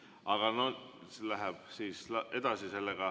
Aga see läheb edasi.